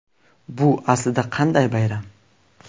Bu aslida qanday bayram?